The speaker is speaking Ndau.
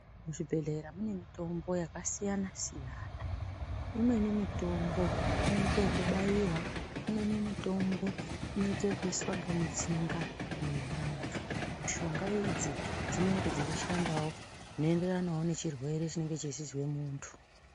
Muzvibhehlera mune mitombo yakasiyana-siyana. Imweni mitombo inoita kubaiwa, imweni mitombo inoita kuiswa mutsinga mwevandu. Mushonga idzi dzinenge dzeishandawo zvinoenderanawo nechirwere chinenge cheizwa mundu.